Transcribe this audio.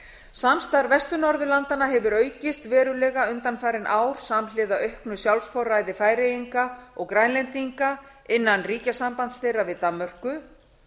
samstarf vestur norðurlanda hefur aukist verulega undanfarin ár samhliða auknu sjálfsforræði færeyinga og grænlendinga innan ríkjasambands þeirra við danmörku